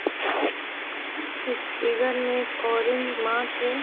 इसके घर में एक ऑरेंज है।